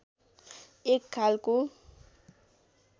एक खालको